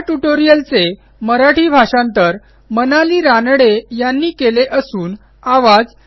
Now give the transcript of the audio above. ह्या ट्युटोरियलचे मराठी भाषांतर मनाली रानडे यांनी केलेले असून आवाज